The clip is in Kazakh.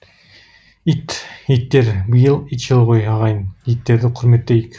ит иттер биыл ит жылы ғой ағайын иттерді құрметтейік